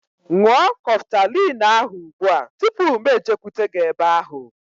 Ṅụọ Kọftalin ahu ụgbụa tụpụ mụ ejekwute gị ebe ahu